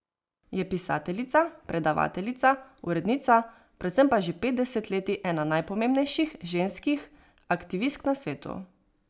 Je pisateljica, predavateljica, urednica, predvsem pa že pet desetletij ena najpomembnejših ženskih aktivistk na svetu.